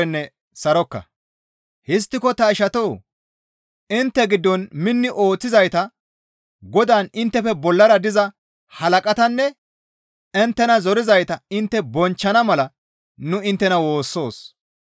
Histtiko ta ishatoo! Intte giddon minni ooththizayta Godaan inttefe bollara diza halaqatanne inttena zorizayta intte bonchchana mala nu inttena woossoos.